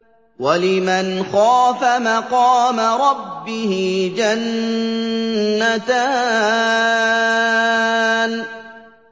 وَلِمَنْ خَافَ مَقَامَ رَبِّهِ جَنَّتَانِ